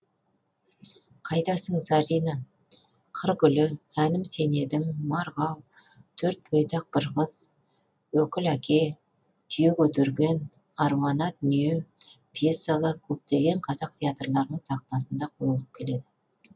қайдасың зарина қыр гүлі әнім сен едің марғау төрт бойдақ бір қыз өкіл әке түйе көтерген аруана дүние пьесалары көптеген қазақ театрларының сахнасында қойылып келеді